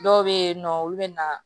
Dɔw bɛ yen nɔ olu bɛ na